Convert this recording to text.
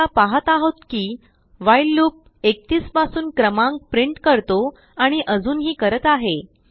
आता आपण पाहत आहोत किwhileलूप 31पासून क्रमांक प्रिंट करतो आणि अजूनही करत आहे